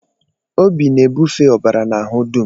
Obi na-ebufe ọbara n'ahụ dum.